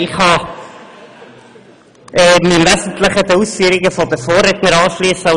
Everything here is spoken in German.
Ich kann mich den wesentlichen Ausführungen meiner Vorredner anschliessen.